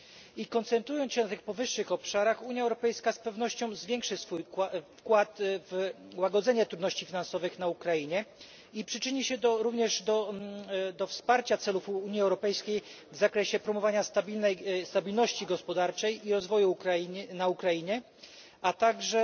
I koncentrując się na tych powyższych obszarach, Unia Europejska z pewnością zwiększy swój wkład w łagodzenie trudności finansowych na Ukrainie i przyczyni się również do wsparcia celów Unii Europejskiej w zakresie promowania stabilności gospodarczej i rozwoju na Ukrainie, a także